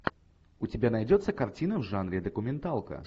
у тебя найдется картина в жанре документалка